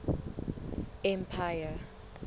empire